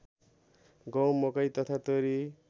गहुँ मकै तथा तोरी